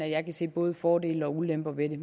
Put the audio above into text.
at jeg kan se både fordele og ulemper ved det